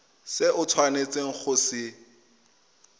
se o tshwanetseng go se